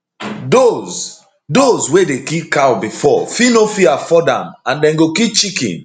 dose dose wey dey kill cow bifor fit no fit afford am and dem go kill chicken